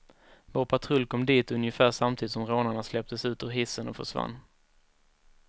Vår patrull kom dit ungefär samtidigt som rånarna släpptes ut ur hissen och försvann.